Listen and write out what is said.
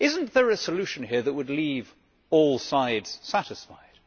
Is there not a solution here that would leave all sides satisfied?